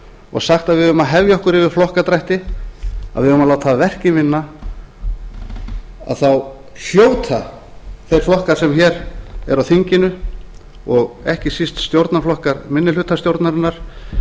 og sagt að við eigum að hefja okkur yfir flokkadrætti að við eigum að láta verkin vinna þá hljóta þeir flokkar sem hér eru á þinginu og ekki síst stjórnarflokkar minnihlutastjórnarinnar